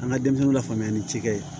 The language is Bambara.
An ka denmisɛnninw lafaamuya ni cikɛ ye